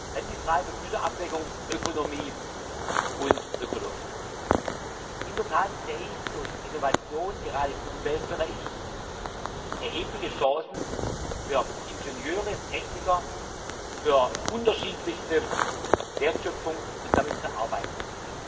Dann die Frage der Güterabwägung Ökonomie und Ökologie. In der Tat sehe ich durch Innovation, gerade im Umweltbereich, erhebliche Chancen für Ingenieure, Techniker, für unterschiedlichste Wertschöpfung und damit für Arbeitsplätze.